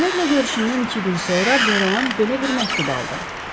Bomerlə görüşündən iki gün sonra Deroan belə bir məktub aldı.